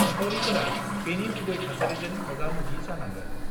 निखावरिफोरा बेनि गुबै थासारिजों मोगा-मोगि जानाङो।